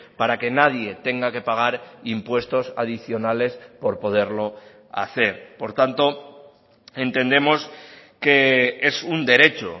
para que nadie tenga que pagar impuestos adicionales por poderlo hacer por tanto entendemos que es un derecho